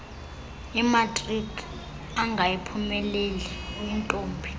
imatriki angayiphumeleli uyintombi